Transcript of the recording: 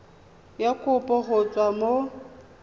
ya kopo go tswa mo